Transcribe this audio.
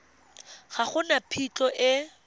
ga go na phitlho e